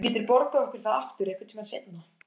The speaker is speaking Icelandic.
Þú getur borgað okkur það aftur einhvern tíma seinna.